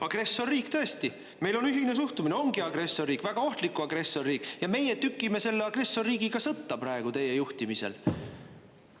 Agressorriik, tõesti, meil on ühine suhtumine, ongi agressorriik, väga ohtlik agressorriik, ja meie tükime selle agressorriigiga sõtta praegu teie juhtimisel.